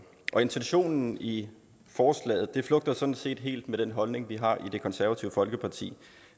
intentionen i forslaget flugter sådan set helt med den holdning vi har i det konservative folkeparti